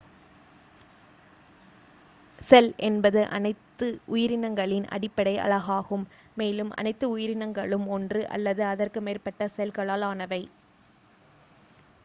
செல் என்பது அனைத்து உயிரினங்களின் அடிப்படை அலகாகும் மேலும் அனைத்து உயிரினங்களும் ஒன்று அல்லது அதற்கு மேற்பட்ட செல்களால் ஆனவை